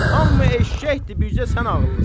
Hamı eşşəkdi, bircə sən ağıllısan.